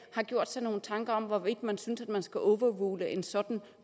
have gjort sig nogle tanker om hvorvidt man synes man skal overrule en sådan en